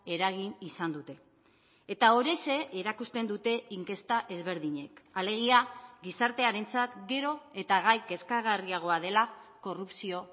eragin izan dute eta horixe erakusten dute inkesta ezberdinek alegia gizartearentzat gero eta gai kezkagarriagoa dela korrupzio